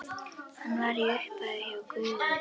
Hann var í upphafi hjá Guði.